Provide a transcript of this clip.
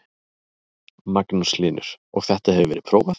Magnús Hlynur: Og þetta hefur verið prófað?